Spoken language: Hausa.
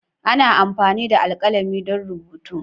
Ana amfani da alkalami don rubutu.